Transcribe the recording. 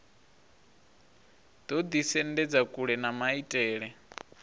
ḓo ḓisendedza kule na maitele